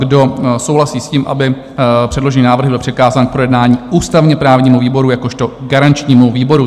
Kdo souhlasí s tím, aby předložený návrh byl přikázán k projednání ústavně-právnímu výboru jakožto garančnímu výboru?